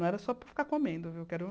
Não era só para ficar comendo, viu? Quero